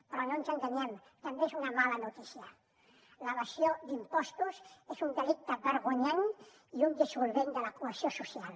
però no ens enganyem també és una mala notícia l’evasió d’impostos és un delicte vergonyant i un dissolvent de la cohesió social